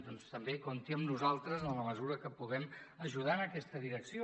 doncs també compti amb nosaltres en la mesura que puguem ajudar en aquesta direcció